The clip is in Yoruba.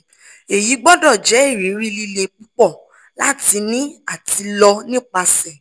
eyi gbọdọ jẹ iriri lile pupọ lati ni ati lọ nipasẹ